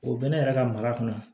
O bɛ ne yɛrɛ ka maga kɔnɔ